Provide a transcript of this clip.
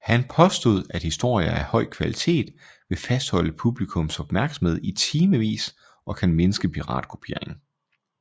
Han påstod at historier af høj kvalitet vil fastholde publikums opmærksomhed i timevis og kan mindske piratkopiering